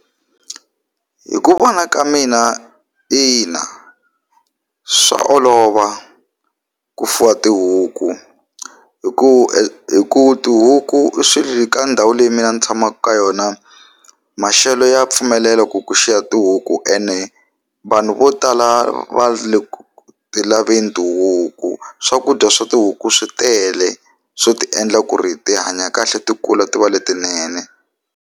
Hi ku vona ka mina ina swa olova ku fuwa tihuku hi ku hi ku tihuku ka ndhawu leyi mina ni tshamaka ka yona maxelo ya pfumelela ku ku xiya tihuku ene vanhu vo tala va le ku ti laveni tihuku swakudya swa tihuku swi tele swo ti endla ku ri ti hanya kahle ti kula ti va letinene.